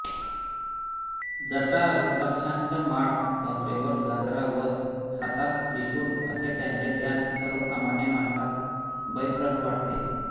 जटा रूद्राक्षांच्या माळा कमरेवर घागरा व हातात त्रिशूळ असे त्यांचे ध्यान सर्वसामान्य माणसास भयप्रह वाटते